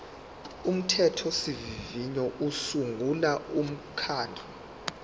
umthethosivivinyo usungula umkhandlu